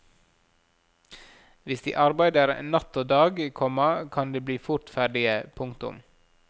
Hvis de arbeider natt og dag, komma kan de bli fort ferdige. punktum